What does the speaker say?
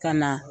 Ka na